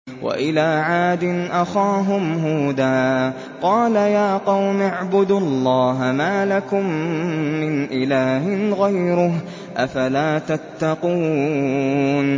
۞ وَإِلَىٰ عَادٍ أَخَاهُمْ هُودًا ۗ قَالَ يَا قَوْمِ اعْبُدُوا اللَّهَ مَا لَكُم مِّنْ إِلَٰهٍ غَيْرُهُ ۚ أَفَلَا تَتَّقُونَ